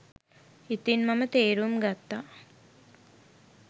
ඉතින් මම තේරුම් ගත්තා